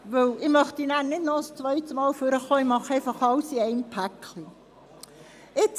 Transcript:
Da ich dann nicht noch einmal ans Rednerpult treten möchte, nehme ich gerade zu allen Anträgen Stellung.